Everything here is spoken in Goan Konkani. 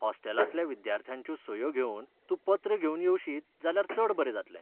हॉस्टेलांतल्या विद्यार्थ्यांच्यो सयो घेवन तूं पत्र घेवन येवशीत जाल्यार चड बरें जातलें.